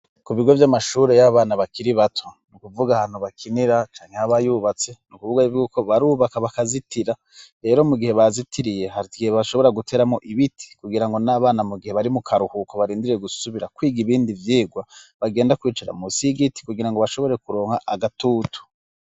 Ku bigo vy'amashuri y'abana bakiri bato. Ni ukuvuga ahantu bakinira canke aba yubatse, ni ukuvuga y'uko barubaka bakazitira, rero mu gihe bazitiriye hari igihe bashobora guteramwo ibiti, kugira ngo n'abana mu gihe bari mu karuhuko barindiriye gusubira kwiga ibindi vyigwa, bagenda kwicara munsi y'igiti, kugira ngo bashobore kuronka agatutu.